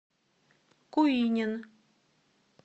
куинен